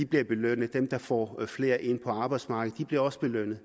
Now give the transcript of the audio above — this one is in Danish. bliver belønnet de der får flere ind på arbejdsmarkedet bliver også belønnet